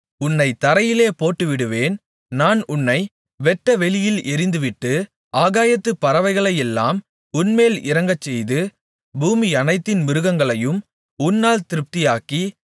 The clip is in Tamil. உன்னைத் தரையிலே போட்டுவிடுவேன் நான் உன்னை வெட்டவெளியில் எறிந்துவிட்டு ஆகாயத்துப் பறவைகளையெல்லாம் உன்மேல் இறங்கச்செய்து பூமியனைத்தின் மிருகங்களையும் உன்னால் திருப்தியாக்கி